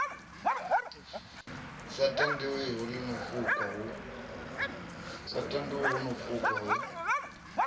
sa tandwi ḽino fukwa hu